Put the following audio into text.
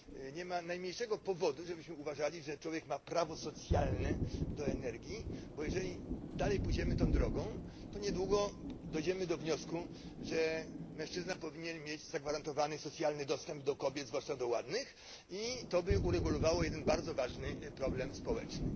Nie ma najmniejszego powodu, żebyśmy uważali że człowiek ma prawo socjalne do energii, bo jeżeli dalej pójdziemy tą drogą, to niedługo dojdziemy do wniosku, że mężczyzna powinien mieć zagwarantowany socjalny dostęp do kobiet zwłaszcza do ładnych i to by uregulowało jeden bardzo ważny problem społeczny.